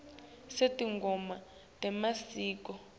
sinetingoma temasiko